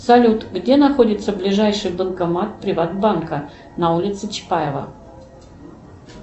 салют где находится ближайший банкомат приватбанка на улице чапаева